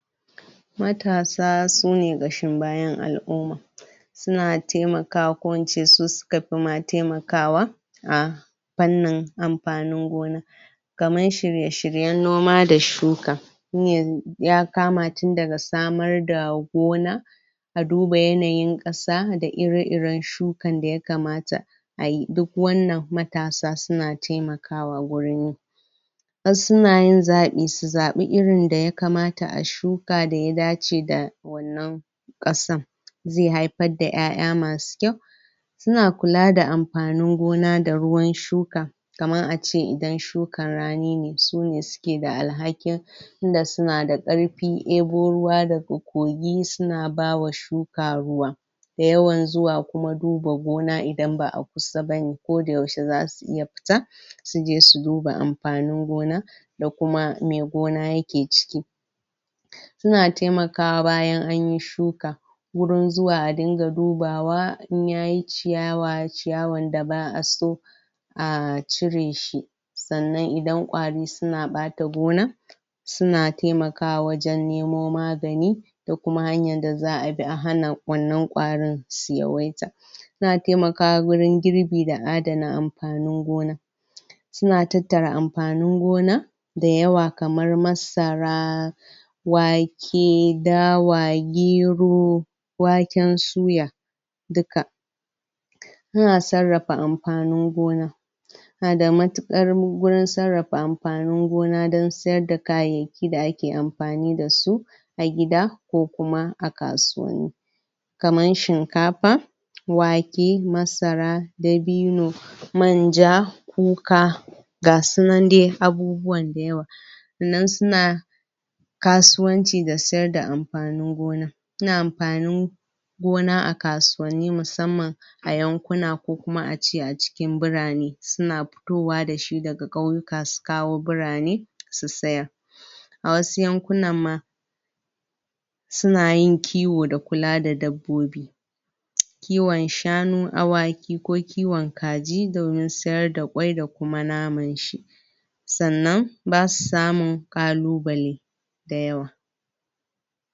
Matasa su ne kashin bayan alumma su na taimaka ko in ce su suka fi ma taimakawa a pannin amfanin gona kamar shirye-shiryen noma da shuka shi ne ya kama tun da ga samar da gona a duba yanayin kasa da ire-iren shukan da ya kamata ayi duk wannan matasa su na taimakawa gurin wasu na yin zabi, su zabi irin da ya kamata a shuka da ya dacce da wannan kasan zai haifar da ƴaƴa masu kyau su na kula da amfanin gona da ruwan shuka kaman ace idan shukan rani ne, su ne su ke da alhaƙin tun da su na da karfi, ɗebo ruwa da da ga kogi su na bawa shuka ruwa dayawan zuwa kuma duba gona idan baa kusa bane ko da yaushe za su iya fita su je su duba amfanin gona da kuma mai gona ya ke ciki su na taimakawa bayan anyi shuka wurin zuwa a dinga dubawa in yayi ciyawa, ciyawan da baa so a cire shi tsannan idan kwari su na bata gona su na taimakawa wajen nemo magani da kuma hanyan da zaa bi a hana wannan kwarin su yaweita su na taimakawa gurin girbi da adanna amfanin gona su na tattara amfanin gona dayawa kamar masara wake, dawa, gero waken suya dukka a na sarafa amfanin gona a na da matukar gurin sarafa amfanin gona dan siyar da kayaki da ake amfani da su a gida, ko kuma a kasuwa kaman shinkafa wake, masara, dabino manja, kuka ga sunan dai, abubuwan dayawa. Nan su na kasuwanci da siyar da amfanin gona su na amfani gona a kasuwani musamman ayankuna ko kuma a ce a cikin bura ne, su na fittowa da shi da ga kauyuka su kawo bura ne, su tsayar a wasu yankunan ma su na yin kiwo da kula da dabbobi kiwon shanu, awaki ko kiwon kaji domin siyar da kwai da kuma naman shi tsannan ba su samu kaluballe dayawa.